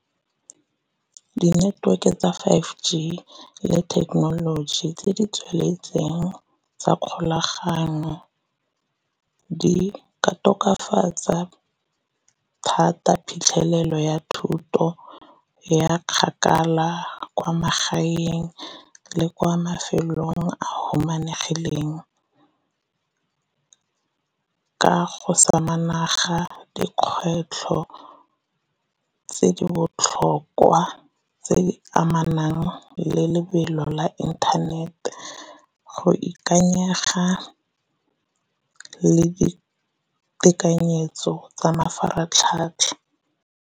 Di-network e tsa five G le thekenoloji tse di tsweletseng tsa kgolagano di ka tokafatsa thata phitlhelelo ya thuto ya kgakala kwa magaeng le kwa mafelong a humanegileng. Ka go dikgwetlho tse di botlhokwa tse di amanang le lebelo la internet, go ikanyega le ditekanyetso tsa mafaratlhatlha.